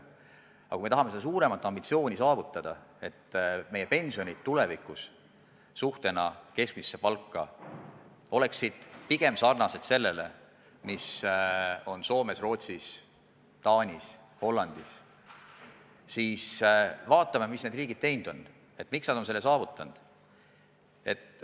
Aga kui me tahame seda suuremat ambitsiooni ellu viia, kui me tahame, et meie pensionid võrreldes keskmise palgaga oleksid sarnased nendega, mis on Soomes, Rootsis, Taanis ja Hollandis, siis vaatame, mis need riigid teinud on, kuidas nad on selle saavutanud.